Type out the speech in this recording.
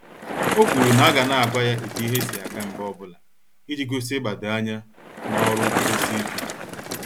O kwuru na aga na àgwà ya etu ihe si aga mgbe ọbụla, iji gosi igbado anya n'ọrụ nkwudosi ike.